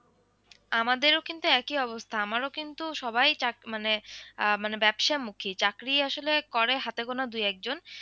আমাদের ও কিন্তু একই অবস্থা আমারও কিন্তু সবাই চাক মানে আহ মানে ব্যবসা মুখী চাকরি করে হাতে গোনা দুই এক জন ।